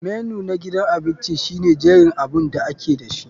Menu na gidan abinci shine jerin abun da ake dashi.